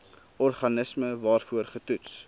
organisme waarvoor getoets